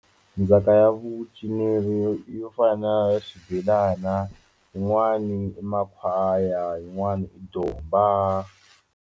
Ndzhaka ya vucinelo yo fana na swibelana yin'wani i makhwaya yin'wana i domba.